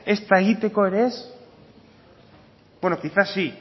ezta egiteko ere ez bueno quizás sí